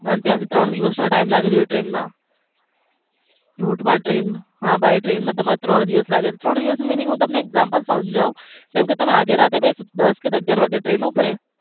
અને ત્યાંથી ત્રણ દિવસ નો time લાગે છે route by train માં તમારે ત્રણ દિવસ લાગે છે ત્રણ દિવસ નો meaning example સમજવું આજે રાતે તમે બેસો તમે દસ થી અગ્યાર વાગે ટ્રેન ઉપડે.